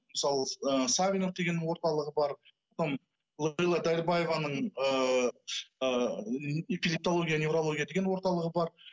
мысалы ы савинов дегеннің орталығы бар потом лейла дәрібаеваның ыыы эпилептология неврология деген орталығы бар